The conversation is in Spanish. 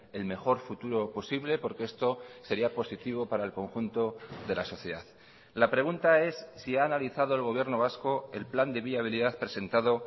el mejor futuro posible porque esto sería positivo para el conjunto de la sociedad la pregunta es si ha analizado el gobierno vasco el plan de viabilidad presentado